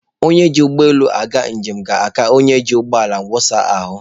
Onye ji ụgbọ elu aga njem ga-aka onye ji ụgbọ ala wụsa ahụ.